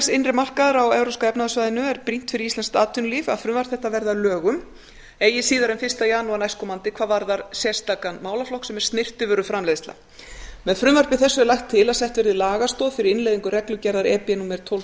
innri markaðar á evrópska efnahagssvæðinu er það brýnt fyrir íslenskt atvinnulíf að frumvarp þetta verði að lögum eigi síðar en fyrsta janúar næstkomandi hvað varðar sérstakan málaflokk sem er snyrtivöruframleiðsla með frumvarpi þessu er lagt til að sett verði lagastoð fyrir innleiðingu reglugerðar e b númer tólf hundruð